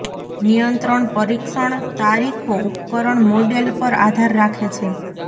નિયંત્રણ પરીક્ષણ તારીખો ઉપકરણ મોડેલ પર આધાર રાખે છે